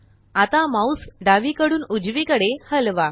आता माउस डावीकडून उजवीकडे हलवा